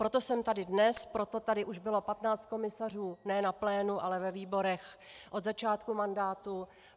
Proto jsem tady dnes, proto tady už bylo 15 komisařů, ne na plénu, ale ve výborech, od začátku mandátu.